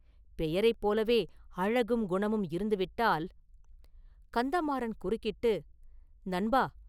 பெயரைப் போலவே அழகும் குணமும் இருந்து விட்டால்..” கந்தமாறன் குறுக்கிட்டு, “நண்பா!